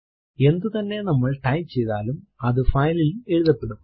എന്തുതന്നെ നമ്മൾ ടൈപ്പ് ചെയ്താലും അതു file ൽ എഴുതപ്പെടും